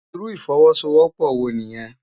Irú ifòwòsówòpò wó niyèn?